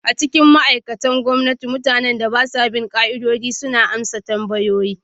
A cikin ma'aikatan gwamnati, mutanen da ba sa bin ƙa'idodi suna amsa tambaya.